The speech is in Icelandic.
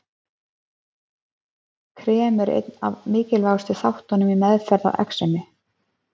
Krem eru einn af mikilvægustu þáttunum í meðferð á exemi.